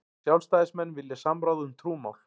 Sjálfstæðismenn vilja samráð um trúmál